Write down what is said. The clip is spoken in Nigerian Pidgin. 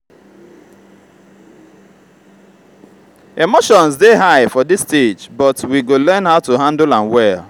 emotions dey high for this stage but we go learn how to handle am well.